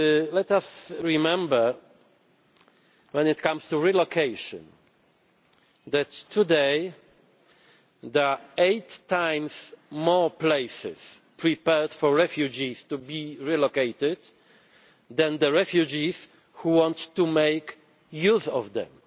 Let us remember when it comes to relocation that there are today eight times more places prepared for refugees to be relocated than refugees who want to make use of them.